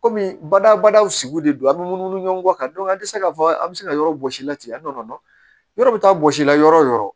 Kɔmi badabadaw sigi de don an be munumunu ɲɔgɔn kan an tɛ se k'a fɔ an bɛ se ka yɔrɔ bɔsi la ten an t'o dɔn yɔrɔ bɛ taa bɔsi la yɔrɔ o yɔrɔ